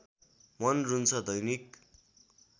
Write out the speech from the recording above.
मन रुन्छ दैनिक